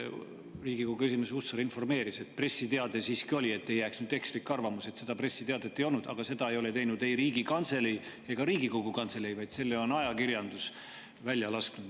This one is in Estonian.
Riigikogu esimees Hussar informeeris, et pressiteade siiski oli – et ei jääks nüüd ekslik arvamus, et pressiteadet ei olnudki –, aga seda ei teinud ei Riigikantselei ega Riigikogu Kantselei, vaid selle on ajakirjandus välja lasknud.